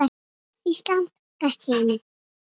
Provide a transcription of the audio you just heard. Ísland, best í heimi.